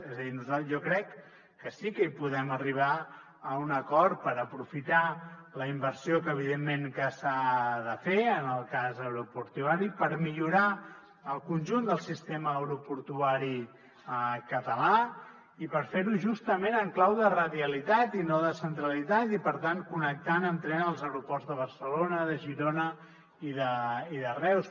és a dir jo crec que sí que hi podem arribar a un acord per aprofitar la inversió que evidentment s’ha de fer en el cas aeroportuari per millorar el conjunt del sistema aeroportuari català i per fer ho justament en clau de radialitat i no de centralitat i per tant connectant amb tren els aeroports de barcelona de girona i de reus